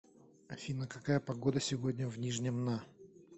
афина какая погода сегодня в нижнем на